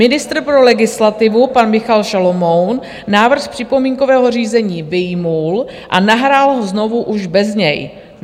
Ministr pro legislativu pan Michal Šalomoun návrh z připomínkového řízení vyjmul a nahrál ho znovu už bez něj.